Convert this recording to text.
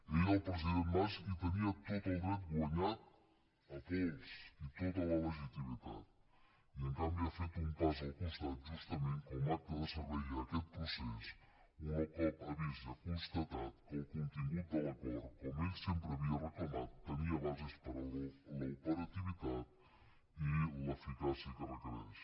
ell el president mas hi tenia tot el dret guanyat a pols i tota la legitimitat i en canvi ha fet un pas al costat justament com a acte de servei a aquest procés un cop ha vist i ha constatat que el contingut de l’acord com ell sempre havia reclamat tenia bases per a l’operativitat i l’eficàcia que requereix